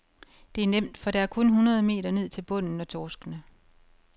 Det er nemt, for der er kun hundrede meter ned til bunden og torskene.